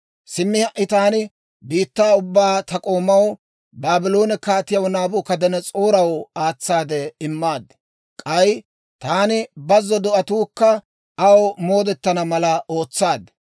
Simmi ha"i taani biittaa ubbaa ta k'oomaw, Baabloone Kaatiyaa Naabukadanas'ooraw aatsaade immaad. K'ay taani bazzo do'atuukka aw moodetana mala ootsaad.